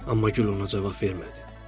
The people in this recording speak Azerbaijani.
Amma gül ona cavab vermədi.